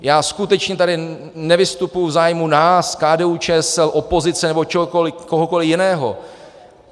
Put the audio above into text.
Já skutečně tady nevystupuji v zájmu nás, KDU-ČSL, opozice nebo kohokoli jiného.